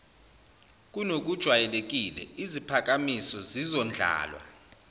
kunokujwayelekile iziphakamiso zizondlalwa